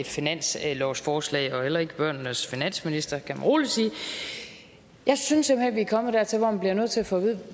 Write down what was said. finanslovsforslag og heller ikke børnenes finansminister kan man rolig sige jeg synes at vi er kommet dertil hvor vi bliver nødt til at få vide